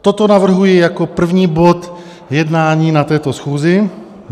Toto navrhuji jako první bod jednání na této schůzi.